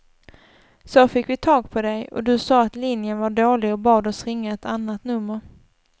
Så fick vi tag på dig och du sa att linjen var dålig och bad oss ringa ett annat nummer.